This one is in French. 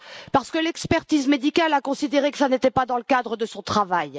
Parce que l'expertise médicale a considéré que ce n'était pas dans le cadre de son travail!